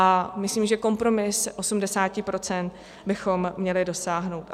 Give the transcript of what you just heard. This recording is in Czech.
A myslím, že kompromisu 80 % bychom měli dosáhnout.